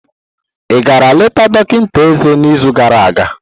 igara leta dọkịta eze n'izu gara aga?